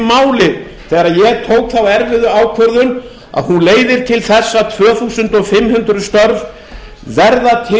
máli þegar ég tók þá erfiðu ákvörðun að hún leiðir til þess að tvö þúsund fimm hundruð þúsund störf verða til